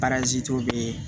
bee